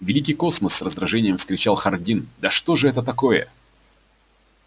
великий космос с раздражением вскричал хардин да что же это такое